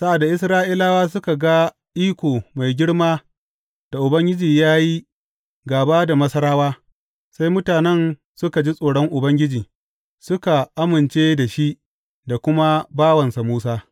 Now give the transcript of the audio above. Sa’ad da Isra’ilawa suka ga iko mai girma da Ubangiji ya yi gāba da Masarawa, sai mutanen suka ji tsoron Ubangiji, suka amince da shi, da kuma bawansa Musa.